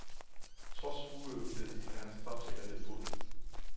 Trods uøvethed er hans træfsikkerhed god.